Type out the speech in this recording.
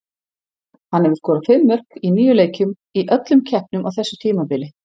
Hann hefur skorað fimm mörk í níu leikjum í öllum keppnum á þessu tímabili.